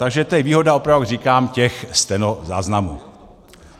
Takže to je výhoda, opravdu říkám, těch stenozáznamů.